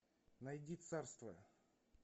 найди царство